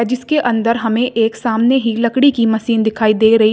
इसके अंदर हमें एक सामने ही लकड़ी की मशीन दिखाई दे रही--